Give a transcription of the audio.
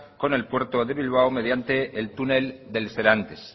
con el puerto de bilbao mediante el túnel del serantes